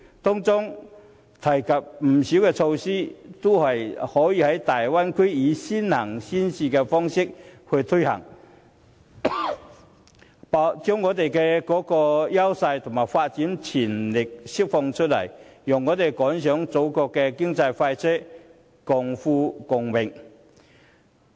該協議提及的不少措施，都可以在大灣區以先行先試的方式推行，把香港的優勢及發展潛力釋放出來，讓我們趕上祖國的經濟快車，共富共榮。